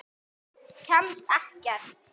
Kemst ekkert.